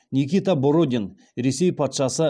никита бородин ресей патшасы